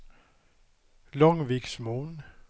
Långviksmon